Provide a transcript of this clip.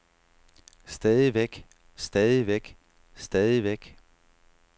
stadigvæk stadigvæk stadigvæk